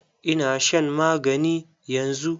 Ina shan magani yanzu.